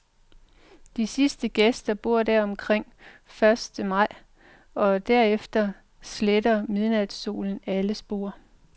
De sidste gæster bor der omkring første maj, og herefter sletter midnatssolen alle spor.